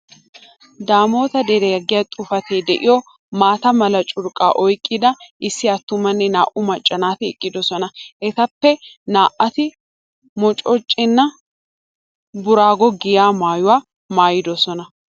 Daamoota deriya giya xuufetee de'iyo maata mala curqqaa oyqqida issi attuma nne naa"u macca naati eqqidosona. Etappe naa"ati moochcheena booraago giya maayuwa maayidosona.